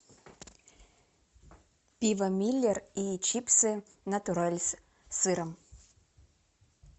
пиво миллер и чипсы натуралс с сыром